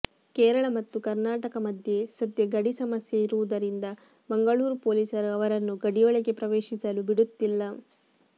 ಕೇರಳ ಮತ್ತು ಕರ್ನಾಟಕ ಮಧ್ಯೆ ಸದ್ಯ ಗಡಿ ಸಮಸ್ಯೆ ಇರುವುದರಿಂದ ಮಂಗಳೂರು ಪೊಲೀಸರು ಅವರನ್ನು ಗಡಿಯೊಳಗೆ ಪ್ರವೇಶಿಸಲು ಬಿಡುತ್ತಿಲ್ಲ